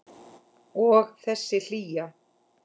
Og þessi hlýja.